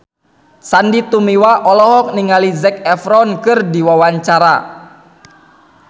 Sandy Tumiwa olohok ningali Zac Efron keur diwawancara